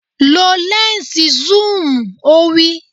Lo lẹ́ǹsì súùmù! Ó wí.